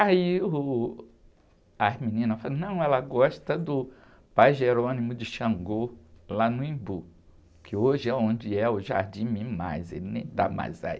Aí, uh, as meninas falaram, não, ela gosta do pai de Xangô, lá no Embu, que hoje é onde é o Jardim Mimas, ele nem dá mais aí.